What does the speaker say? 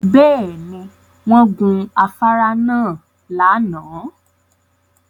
Bẹ́ẹ̀ ni, wọ́n gun afárá náà lánàá